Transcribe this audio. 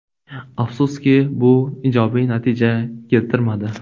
Afsuski, bu ijobiy natija keltirmadi.